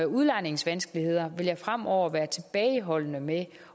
udlejningsvanskeligheder vil jeg fremover være tilbageholdende med